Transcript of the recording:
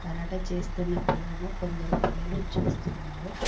Karate చేస్తున్న పిల్లలను కొందరు పిల్లలు చూస్తున్నారు.